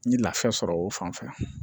N ye lafiya sɔrɔ o fan fɛ